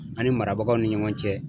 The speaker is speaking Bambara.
An ni marabagaw ni ɲɔgɔn cɛ.